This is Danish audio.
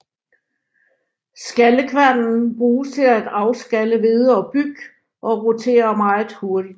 Skallekværnen bruges til at afskalle hvede og byg og roterer meget hurtigt